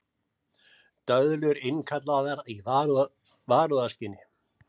Döðlur innkallaðar í varúðarskyni